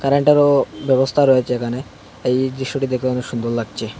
কারেন্টেরও ব্যবস্থা রয়েছে এখানে এই দৃশ্যটি দেখে অনেক সুন্দর লাগছে।